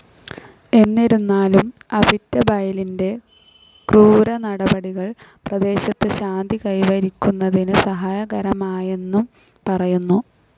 എന്നിരുന്നാലും അവിറ്റബൈലിന്റെ ക്രൂരനടപടികൾ പ്രദേശത്ത് ശാന്തി കൈവരിക്കുന്നതിന് സഹായകരമായെന്നും പറയുന്നു.